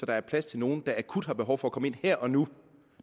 der er plads til nogle der akut har behov for at komme ind her og nu